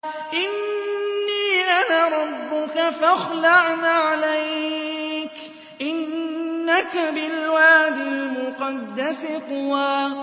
إِنِّي أَنَا رَبُّكَ فَاخْلَعْ نَعْلَيْكَ ۖ إِنَّكَ بِالْوَادِ الْمُقَدَّسِ طُوًى